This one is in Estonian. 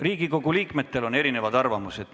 Riigikogu liikmetel on erinevad arvamused.